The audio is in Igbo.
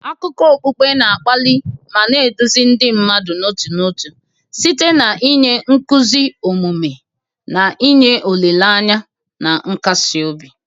Akụkọ okpukpe na-akpali ma na-eduzi ndị mmadụ n'otu n'otu site n'inye nkuzi omume, na inye olileanya na nkasi obi.